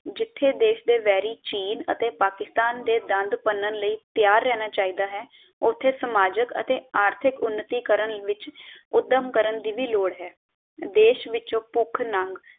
ਜਿਥੇ ਦੇਸ਼ ਦੇ ਵੈਰੀ ਚੀਨ ਅਤੇ ਪਾਕਿਸਤਾਨ ਦੇ ਦੰਦ ਭੰਨਣ ਲਈ ਤੈਯਾਰ ਰਹਿਣਾ ਚਾਹੀਦਾ ਹੈ ਉਥੇ ਸਮਾਜਿਕ ਅਤੇ ਅਰਥਿਕ ਉਨਤੀ ਕਰਨ ਵਿਚ ਊਧਮ ਕਰਨ ਦੀ ਵੀ ਲੋੜ ਲੋੜ ਹੈ ਦੇਸ਼ ਵਿਚੋਂ ਭੁੱਖ ਨੰਗ